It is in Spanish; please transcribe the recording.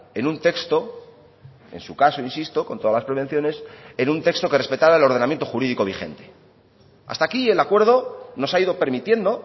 en un texto en su caso insisto con todas las prevenciones en un texto que respetara el ordenamiento jurídico vigente hasta aquí el acuerdo nos ha ido permitiendo